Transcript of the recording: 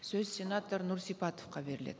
сөз сенатор нұрсипатовқа беріледі